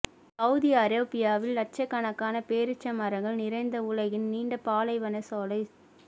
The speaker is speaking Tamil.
சவூதி அரேபியாவில் லட்சக்கணக்கான பேரீச்சம் மரங்கள் நிறைந்த உலகின் நீண்ட பாலைவன சோலை